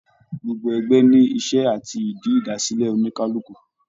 Gbogbo ẹgbẹ ní iṣẹ àti ìdí idasilẹ oníkálukú.